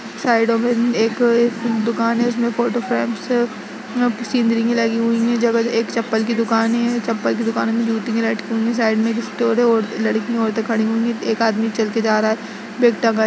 साईडों में अ एक एक दुकान है उसमे फोटो फ्रेम से अ सीनरी ली हुई है। जगह-जगह एक चप्पल की दुकानें हैं चप्पल की दुकानों में जूतियां लटकी हुई है। साइड में एक स्टोर है औ लड़की औरते खड़ी हुई हैं। एक आदमी चल के जा रहा है। --